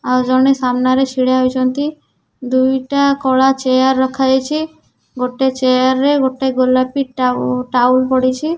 ଆଉ ଜଣେ ସାମ୍ନାରେ ଛିଡ଼ା ହୋଇଚନ୍ତି ଦୁଇଟା କଳା ଚେୟାର ରଖାଯାଇଛି ଗୋଟେ ଚେୟାର ରେ ଗୋଟେ ଗୋଲାପୀ ଟାଉ ଟାଉଲ୍ ପଡ଼ିଛି।